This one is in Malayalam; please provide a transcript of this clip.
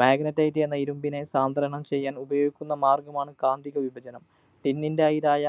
Magnetite എന്ന ഇരുമ്പിനെ സാന്ദ്രണം ചെയ്യാന്‍ ഉപയോഗിക്കുന്ന മാര്‍ഗ്ഗമാണ് കാന്തിക വിപചനം. Tin ൻ്റെ അയിരായ